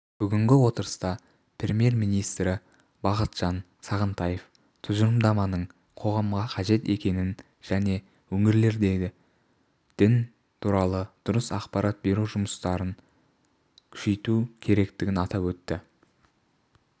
бүгінгі отырыста премьер-министрі бақытжан сағынтаев тұжырымдаманың қоғамға қажет екендігін және өңірлерде дін туралы дұрыс ақпарат беру жұмысын күшейту керектігін атап өтті